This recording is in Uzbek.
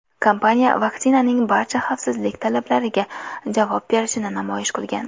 Kompaniya vaksinaning barcha xavfsizlik talablariga javob berishini namoyish qilgan.